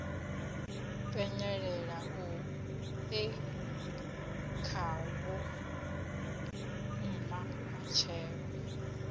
penyelela e khavho mma matshelo